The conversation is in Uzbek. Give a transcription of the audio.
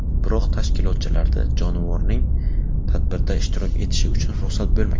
Biroq tashkilotchilarda jonivorning tadbirda ishtirok etishi uchun ruxsat bo‘lmagan.